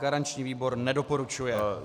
Garanční výbor nedoporučuje.